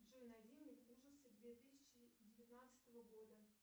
джой найди мне ужасы две тысячи девятнадцатого года